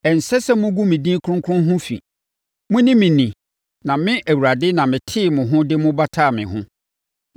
Ɛnsɛ sɛ mogu me din kronkron ho fi. Monni me ni na me, Awurade, na metee mo ho de mo bataa me ho,